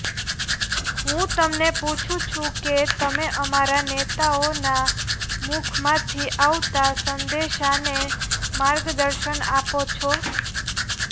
હું તમને પૂછું છું કે તમે અમારા નેતાઓના મુખમાંથી આવતા સંદેશાને માર્ગદર્શન આપો છો